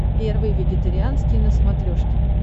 первый вегетарианский на смотрешке